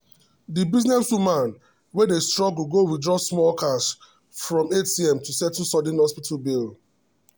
the businesswoman wey dey struggle go withdraw small cash from atm to settle sudden hospital bill.